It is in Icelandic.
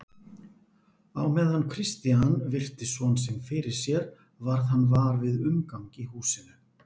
Á meðan Christian virti son sinn fyrir sér varð hann var við umgang í húsinu.